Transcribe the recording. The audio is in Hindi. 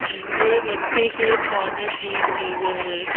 ये बच्चों के खाने की चीजें हैं।